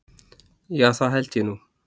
Já, það held ég nú.